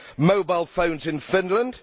mobile phones in Finland